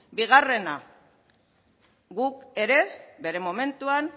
bigarrena guk ere bere momentuan